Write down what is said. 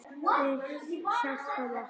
Við hjálpum okkur.